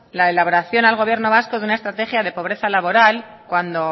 la elaboración al gobierno vasco de una estrategia de pobreza laboral cuando